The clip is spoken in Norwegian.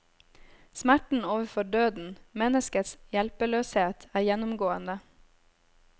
Smerten overfor døden, menneskets hjelpeløshet, er gjennomgående.